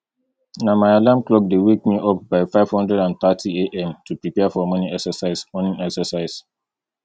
na my alarm clock dey wake me up by five hundred and thirtyam to prepare for morning exercise morning exercise